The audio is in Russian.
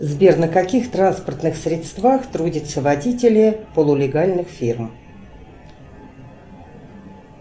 сбер на каких транспортных средствах трудятся водители полулегальных фирм